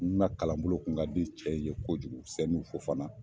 N na kalanbolo kun ka di cɛ in ye kojugu Sɛnu Fofana